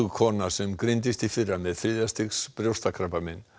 kona sem greindist í fyrra með þriðja stigs brjóstakrabbamein